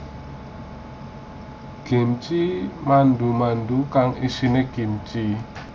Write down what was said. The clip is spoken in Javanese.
Gimchi mandu mandu kang isine kimchi